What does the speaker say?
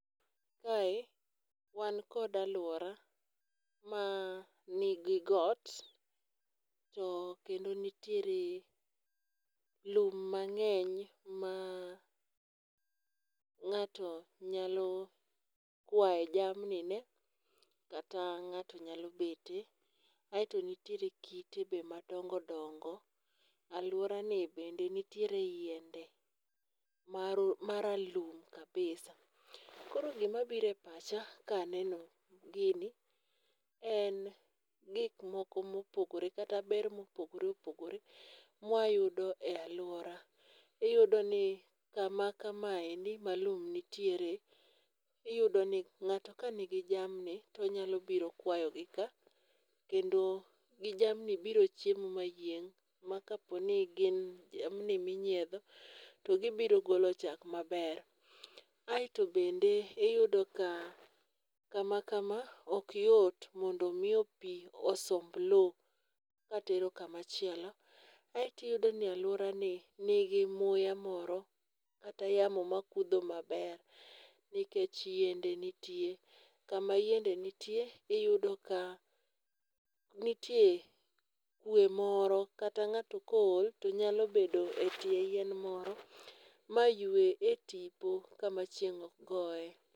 Mae wan kod alwora ma nigi got, to kendo nitiere lum mang'eny ma ng'ato nyalo kwaye jamni ne, kata ng'ato nyalo bete. Aeto nitiere kite bende madongo dongo. Alwora ni bende nitiere yiende ma ma ralum kabisa. Koro gima biro e pacha ka aneno gini en gik moko mopogore. Kata ber ma opogore opogore ma wayudo e alwora. Iyudo ni kama kamendi ma lum nitiere, iyudo ni ng'ato ka nigi jamni, to onyalo biro kwayo gi ka. Kendo ginjamni boro chiemo ma yieng' ma ka po ni gin jamni ma inyiedho, to gibiro golo chak maber. Aeto bende iyudo ka kama kama ok yot mondo miyo pi osomb lowo katero kama chielo. Aeto iyudo ni alwora ni nigi muya moro kata yamo makutho maber. Nikech yiende nitie. Kama yiende nitie, iyudo ka nitie kwe moro kata ng'ato ka ool to nyalo bedo e tie yien moro, ma yue e tipo kama chieng' ok goye.